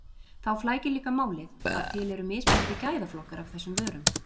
Þá flækir líka málið að til eru mismunandi gæðaflokkar af þessum vörum.